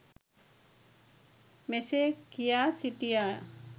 මෙසේ කියා සිටියා.